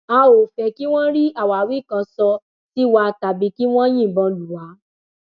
a ò fẹẹ kí wọn rí àwáwí kan sọ sí wa tàbí kí wọn yìnbọn lù wá